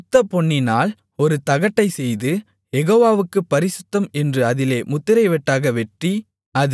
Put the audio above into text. சுத்தப்பொன்னினால் ஒரு தகட்டைச்செய்து யெகோவாவுக்குப் பரிசுத்தம் என்று அதிலே முத்திரை வெட்டாக வெட்டி